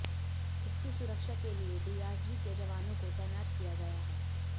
इसकी सुरक्षा के लिए डीआरजी के जवानों को तैनात किया गया है